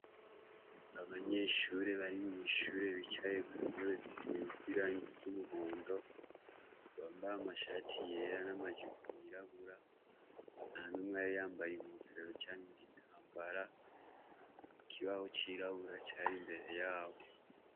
Abanyeshure bari mwishure bicaye kuntebe zisize irangi ryumuhondo bambaye amashati yera namajipo yirabura ntanumwe yari yambaye inkofero canke igitambara ikibaho cirabura cari imbere yabo